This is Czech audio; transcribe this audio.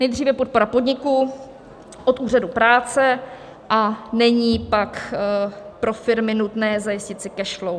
Nejdříve podpora podniku od úřadu práce, a není pak pro firmy nutné zajistit si cash flow.